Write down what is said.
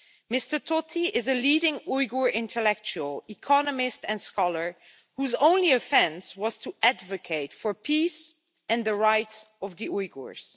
Mr Tohti is a leading Uyghur intellectual, economist and scholar whose only offence was to advocate for peace and the rights of the Uyghurs.